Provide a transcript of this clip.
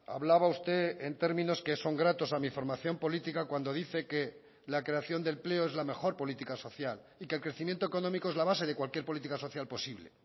hablaba usted en términos que son gratos a mi formación política cuando dice que la creación de empleo es la mejor política social y que el crecimiento económico es la base de cualquier política social posible